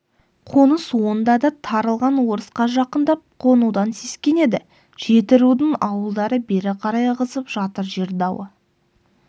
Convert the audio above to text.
қоныс онда да тарылған орысқа жақындап қонудан сескенеді жетірудың ауылдары бері қарай ығысып жатыр жер дауы